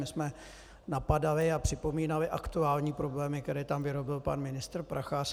My jsme napadali a připomínali aktuální problémy, které tam vyrobil pan ministr Prachař.